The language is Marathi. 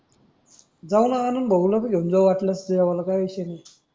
जाऊ न आनंद भाऊ ला घेऊन जाऊन वाटल्यास जेवायला काय विषय नाही.